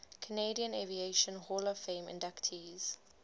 canadian aviation hall of fame inductees